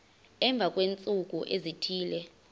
emva kweentsuku ezithile